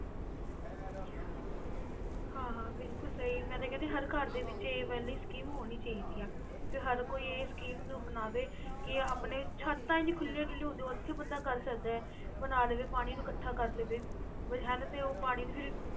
ਹਾਂ ਹਾਂ ਬਿਲਕੁਲ ਸਹੀ ਮੈਂ ਤਾਂ ਕਹਿੰਦੀ ਹਾਂ ਹਰ ਘਰ ਦੇ ਵਿੱਚ ਇਹ ਵਾਲੀ ਸਕੀਮ ਹੋਣੀ ਚਾਹੀਦੀ ਹੈ ਵੀ ਹਰ ਕੋਈ ਇਹ scheme ਨੂੰ ਅਪਣਾਵੇ ਕਿ ਆਪਣੇ ਛੱਤਾਂ ਇੰਨੀਆਂ ਖੁੱਲੀਆਂ ਡੁੱਲੀਆਂ ਹੁੰਦੀਆਂ ਉੱਥੇ ਹੀ ਬੰਦਾ ਕਰ ਸਕਦਾ ਹੈ ਬਣਾ ਲਵੇ ਪਾਣੀ ਨੂੰ ਇਕੱਠਾ ਕਰ ਲਵੇ ਵੀ ਹਨਾ ਤੇ ਉਹ ਪਾਣੀ ਨੂੰ ਫਿਰ